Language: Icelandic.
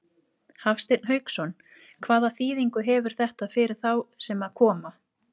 Hafsteinn Hauksson: Hvaða þýðingu hefur þetta fyrir þá sem að koma?